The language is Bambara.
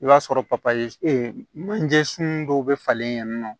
I b'a sɔrɔ manje sun dɔw bɛ falen yen nɔ